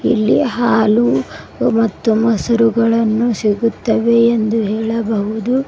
ಇಲ್ಲಿ ಹಾಲು ಮತ್ತು ಮೊಸರುಗಳನ್ನು ಸಿಗುತ್ತವೆ ಎಂದು ಹೇಳಬಹುದು.